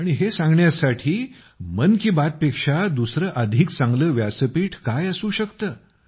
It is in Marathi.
आणि हे सांगण्यासाठी मन की बातपेक्षा दुसरे अधिक चांगले व्यासपीठ काय असू शकते